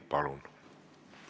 Palun!